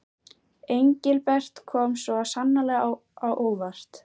Engilbert kom svo sannarlega á óvart.